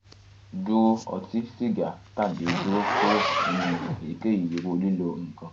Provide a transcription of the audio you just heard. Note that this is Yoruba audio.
duro oti siga tabi duro kuro ninu eyikeyi iru lilo nkan